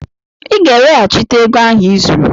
Ị ga-eweghachite ego ahụ i zuru!